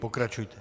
Pokračujte.